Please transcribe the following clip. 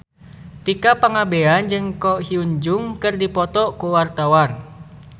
Tika Pangabean jeung Ko Hyun Jung keur dipoto ku wartawan